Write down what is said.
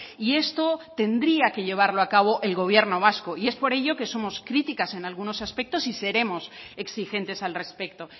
y esto tendría que llevarlo a cabo el gobierno vasco y es por ello que somos críticas en algunos aspectos y seremos exigentes al respecto